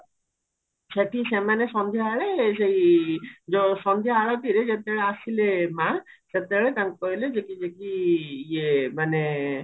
ସେଠି ସେମାନେ ସନ୍ଧ୍ୟାବେଳେ ସେଇ ଯୋଉ ସନ୍ଧ୍ୟା ଆଳତିରେ ଯେତେବେଳେ ଆସିଲେ ମା ସେତେବେଳେ ତାଙ୍କୁ କହିଲେ ଯଦି ଯେକି ଇଏ ମାନେ